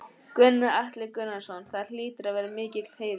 Gunnar Atli Gunnarsson: Það hlýtur að vera mikill heiður?